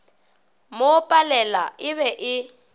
mo palela e be e